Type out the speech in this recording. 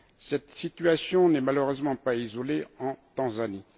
Cette situation n'est malheureusement pas isolée en Tanzanie.